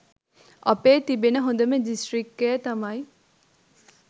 අපේ තිබෙන හොඳම දිස්ත්‍රික්කය තමයි